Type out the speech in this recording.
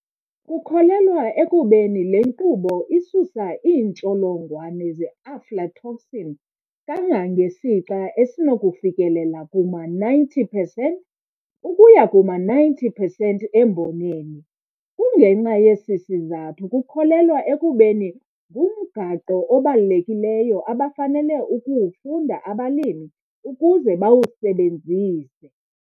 Kukholelwa ekubeni le nkqubo isusa iintsholongwane ze-aflatoxin kangangesixa esinokufikelela kuma 90 percent ukuya kuma 90 percent emboneni. Kungenxa yesi sizathu kukholelwa ekubeni ngumgaqo obalulekileyo abafanele ukuwufunda abalimi ukuze bawusebenzise.